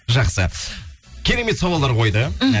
жақсы керемет сауалдар қойды мхм